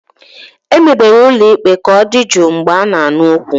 Emebere ụlọ ikpe ka ọ dị jụụ mgbe a na-anụ okwu.